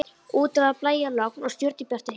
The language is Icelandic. Úti var blæjalogn og stjörnubjartur himinn.